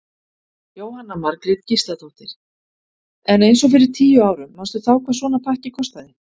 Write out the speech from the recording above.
Jóhanna Margrét Gísladóttir: En eins og fyrir tíu árum manstu þá hvað svona pakki kostaði?